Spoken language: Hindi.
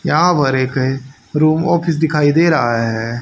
यहां पर एक रूम ऑफिस दिखाई दे रहा है।